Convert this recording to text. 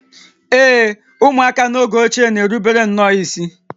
Ee e, ụmụaka n’oge ochie na-erubere nnọọ isi